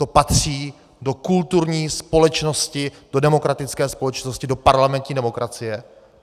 To patří do kulturní společnosti, do demokratické společnosti, do parlamentní demokracie?